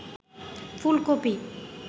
ফুলকপি